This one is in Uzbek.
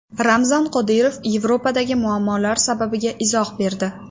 Ramzan Qodirov Yevropadagi muammolar sababiga izoh berdi.